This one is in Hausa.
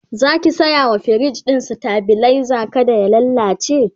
Zaki saya wa firij ɗin stabilizer kada ya lallace?